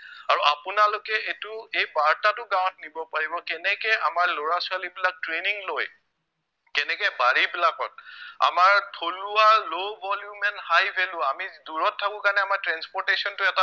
আৰু আপোনালোকে এইটো এই বাৰ্তাটো গাঁৱত নিব পাৰিব কেনেকে আমাৰ লৰা ছোৱালীবিলাক training লৈ, কেনেকে বাৰিবিলাকত আমাৰ থলুৱা low volume and high value আমি দূৰত থাকো কাৰণে আমাৰ transportation টো এটা